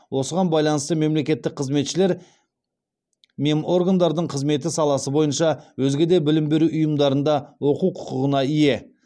осыған байланысты мемлекеттік қызметшілер меморгандардың қызметі саласы бойынша өзге де білім беру ұйымдарында оқу құқығына ие